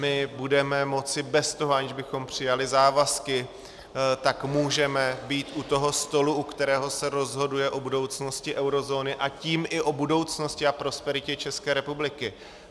My budeme moci bez toho, aniž bychom přijali závazky, tak můžeme být u toho stolu, u kterého se rozhoduje o budoucnosti eurozóny, a tím i o budoucnosti a prosperitě České republiky.